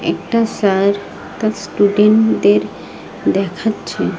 একটা স্যার একটা স্টুডেন্ট -দের দেখাচ্ছে।